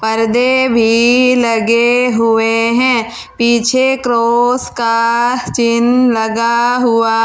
परदे भी लगे हुए हैं पीछे क्रॉस का चिन्ह लगा हुआ--